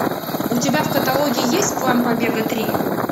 у тебя в каталоге есть план побега три